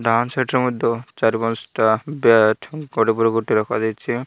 ଡାହାଣ ସାଇଟ୍ ରେ ମଧ୍ୟ ଚାରି ପାଞ୍ଚଟା ବ୍ୟାଟ୍ ଗୋଟେ ପରେ ଗୋଟେ ରଖାଯାଇଚି।